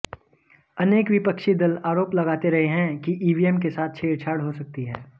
अनेक विपक्षी दल आरोप लगाते रहे हैं कि ईवीएम के साथ छेड़छाड़ हो सकती है